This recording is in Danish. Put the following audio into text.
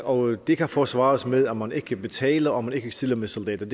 og det kan forsvares med at man ikke betaler og at man ikke stiller med soldater